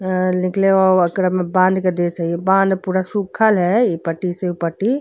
अं निकले ओकरा में बाँध के देत हई। बाँध पूरा सुखल है इ पट्टी से उ पट्टी।